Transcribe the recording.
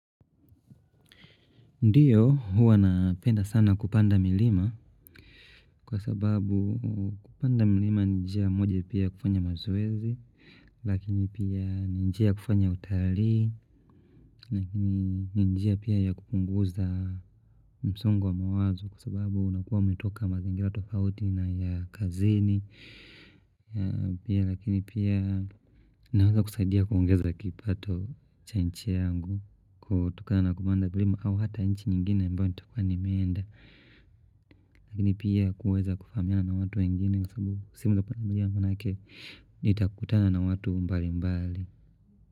Ndiyo huwa napenda sana kupanda milima kwa sababu kupanda milima ni nijia moja pia ya kufanya mazowezi lakini pia ni njia ya kufanya utalii ni ninjia pia ya kupunguza msungo wa mawazo kwa sababu unakuwa umetoka mazingira tofauti na ya kazini Pia lakini pia naweza kusaidia kuongeza kipato cha nchi yangu kutokana na kupanda mlima au hata nchi nyingine ambayo nitakua nimenda Lakini pia kuweza kufanana na watu wengine Kwa sababu si mdo panamulia manake nitakutana na watu mbali mbali.